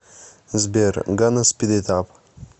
сбер ганна спид ит ап